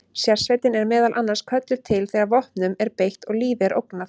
Sérsveitin er meðal annars kölluð til þegar vopnum er beitt og lífi er ógnað.